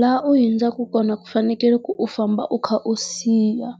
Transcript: Laha u hundzaka kona ku fanekele ku u famba u kha u siya